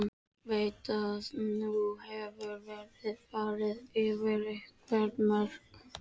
Veit að nú hefur verið farið yfir einhver mörk.